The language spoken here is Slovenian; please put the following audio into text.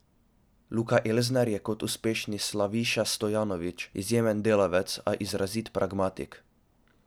Luka Elsner je kot uspešni Slaviša Stojanović izjemen delavec, a izrazit pragmatik.